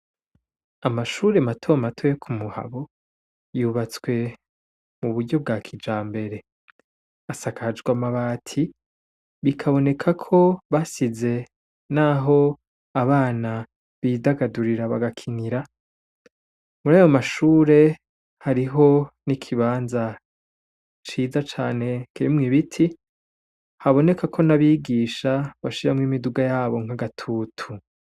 Amashure mato mato yo Kumuhabo yubatswe muburyo bwa kijambere asakajwe amabati bikabonekako basize naho abana bidagadurira bagakinira murayo mashure hariho n'ikibanza ciza cane kirimwo ibiti haboneka ko n'abigisha bashiramwo imiduga yabo nkagatutu.